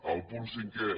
el punt cinquè